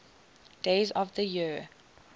days of the year